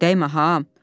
Dəymə ha.